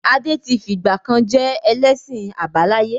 Adé tí fìgbàkan je ẹlẹ́sìn àbáláyé.